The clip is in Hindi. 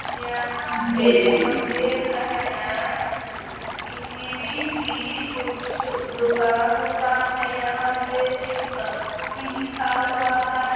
यहाँ पर हम देख रहे हैं कि सी बी सी कुछ दुकान वुकान हैं । यहाँ पे शिवशक्ति लिखा हुआ है।